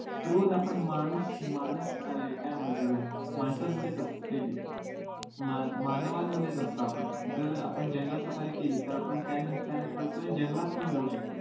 रोज आपण माणूस माणूस अं काय म्हणताय त्याला मानसामांध्येच असतो नेहमी मानवांमध्येच असतो आपण जर आपण जंगल सफारी केली तर आपण त्या निम्मिताने थोडंसं जंगलात पण जाऊ शकतो